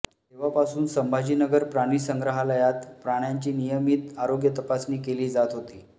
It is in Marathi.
तेव्हापासून संभाजीनगर प्राणिसंग्रहालयात प्राण्यांची नियमीत आरोग्य तपासणी केली जात होती